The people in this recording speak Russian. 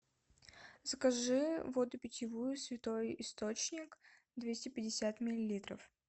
закажи воду питьевую святой источник двести пятьдесят миллилитров